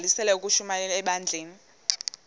bagqalisele ukushumayela ebandleni